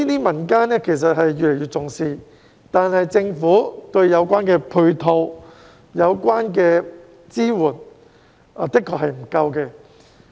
民間對此越來越重視，但政府對有關的配套和支援確實不足。